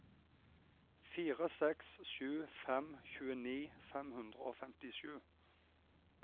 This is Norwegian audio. fire seks sju fem tjueni fem hundre og femtisju